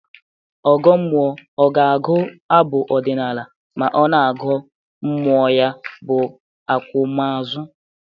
Ọgọ mmụọ ọ ga-agụ abụ ọdịnaalụ ma ọ na-agụọ mmụọ ya bụ akwamaozu?